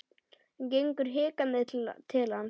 Hann gengur hikandi til hans.